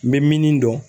N bɛ min dɔn